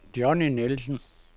Johnny Nielsen